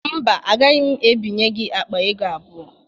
Mba, agaghị m ebinye gị akpa ego abụọ.